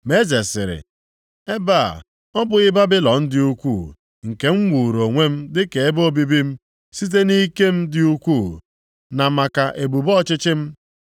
Ma eze sịrị, “Ebe a, ọ bụghị Babilọn dị ukwu, nke m wuuru onwe m dịka ebe obibi m, site nʼike m dị ukwu na maka ebube ọchịchị m?”